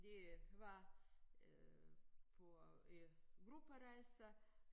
De var øh på øh grupperejse